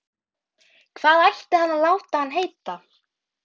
Hvað ætti hann að láta hann heita?